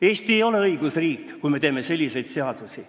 Eesti ei ole õigusriik, kui me teeme selliseid seadusi.